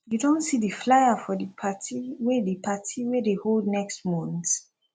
you don see di flier for di party wey di party wey dey hold next month